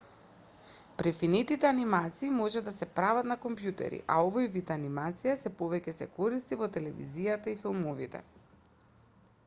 префинетите анимации може да се прават на компјутери а овој вид анимација сѐ повеќе се користи во телевизијата и филмовите